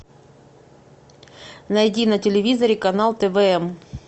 найди на телевизоре канал твм